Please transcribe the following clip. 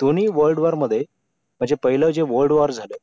दोन्ही world war मध्ये म्हणजे पहिले जे world war झालं